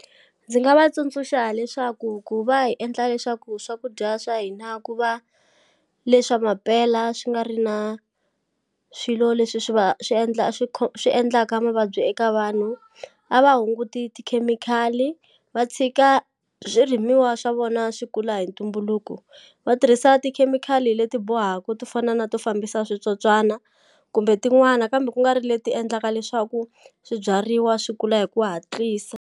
Ndzi nga va tsundzuxa leswaku ku va hi endla leswaku swakudya swa hina ku va leswa mampela swi nga ri na swilo leswi swi va swi endla swi swi endlaka mavabyi eka vanhu a va hunguti tikhemikhali va tshika swirimiwa swa vona swi kula hi ntumbuluko va tirhisa tikhemikhali leti bohaku to fana na to fambisa switsotswana kumbe tin'wana kambe kungari leti endlaka leswaku swibyariwa swi kula hi ku hatlisa.